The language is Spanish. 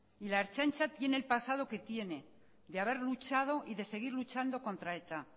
y la ertzaintza tiene el pasado que tiene de haber luchado y de seguir luchando contra eta